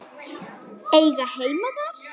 Eiga heima þar?